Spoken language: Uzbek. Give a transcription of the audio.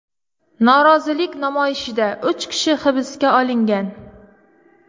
Norozilik namoyishida uch kishi hibsga olingan.